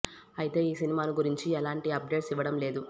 అయితే ఈ సినిమాను గురించిన ఎలాంటి అప్ డేట్స్ ఇవ్వడం లేదు